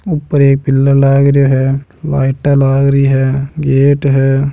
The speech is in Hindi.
ऊपर एक पिलर लाग रहियो है लाईट लाग रही है गेट है।